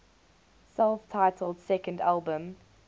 self titled second album